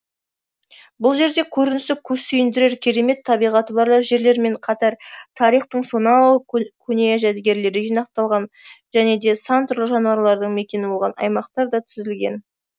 бұл жерде көрінісі көз сүйіндірер керемет табиғаты бар жерлермен қатар тарихтың сонау көне жәдігерлері жинақталған және де сан түрлі жануарлардың мекені болған аймақтар да тізілген